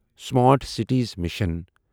smart cities mission